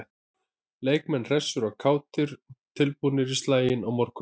Leikmenn hressir og kátir- tilbúnir í slaginn á morgun.